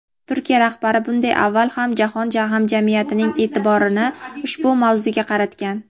Turkiya rahbari bunday avval ham jahon hamjamiyatining e’tiborini ushbu mavzuga qaratgan.